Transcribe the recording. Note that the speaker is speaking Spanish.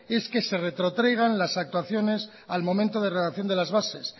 es que se retrotraigan las actuaciones al momento de redacción de las bases